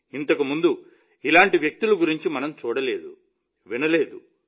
ఇంతకు ముందు ఇలాంటి వ్యక్తుల గురించి మనం చూడలేదు వినలేదు